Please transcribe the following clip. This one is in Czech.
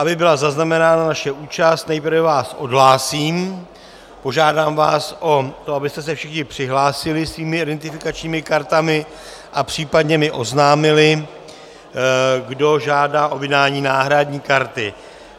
Aby byla zaznamenána naše účast, nejprve vás odhlásím, požádám vás o to, abyste se všichni přihlásili svými identifikačními kartami a případně mi oznámili, kdo žádá o vydání náhradní karty.